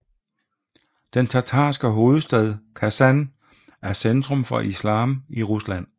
Den tatarske hovedstad Kasan er centrum for islam i Rusland